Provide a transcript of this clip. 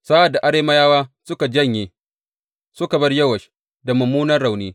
Sa’ad da Arameyawa suka janye, suka bar Yowash da mummunan rauni.